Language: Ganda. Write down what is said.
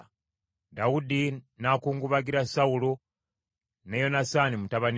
Dawudi n’akungubagira Sawulo ne Yonasaani mutabani we,